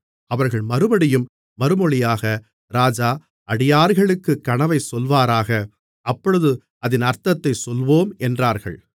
அவர்கள் மறுபடியும் மறுமொழியாக ராஜா அடியார்களுக்குக் கனவைச் சொல்வாராக அப்பொழுது அதின் அர்த்தத்தைச் சொல்வோம் என்றார்கள்